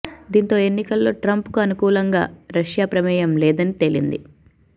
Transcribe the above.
దీంతో ఎన్నికల్లో ట్రంప్ కు అనుకూలంగా రష్యా ప్రమేయం లేదని తేలింది